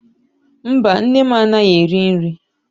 Mba, nne m anaghị eri nri.